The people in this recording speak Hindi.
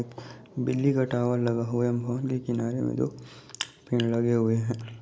बिजली का टावर लगा हुआ है बहुत लेकिन आगे में दो पेड़ लगे हुए है।